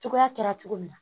Cogoya kɛra cogo min na